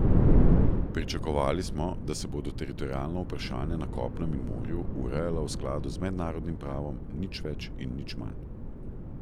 Pričakovali smo, da se bodo teritorialna vprašanja na kopnem in morju urejala v skladu z mednarodnim pravom, nič več in nič manj.